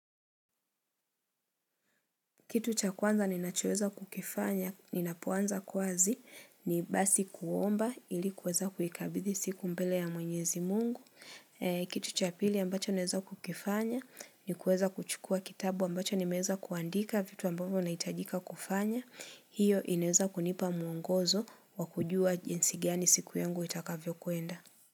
Kitu cha kwanza ninachoweza kukifanya, ninapoanza kwazi, ni basi kuomba ilikuweza kuhikabidhi siku mbele ya mwenyezi Mungu. Kitu cha pili ambacho naweza kukifanya, ni kuweza kuchukua kitabu ambacho nimeweza kuandika vitu ambavyo nahitajika kufanya. Hiyo inaweza kunipa muongozo wakujua jinsi gani siku yangu itakavyo kwenda.